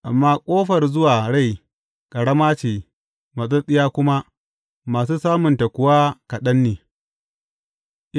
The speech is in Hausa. Amma ƙofar zuwa rai, ƙarama ce matsattsiya kuma, masu samunta kuwa kaɗan ne.